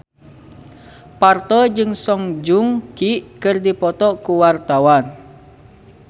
Parto jeung Song Joong Ki keur dipoto ku wartawan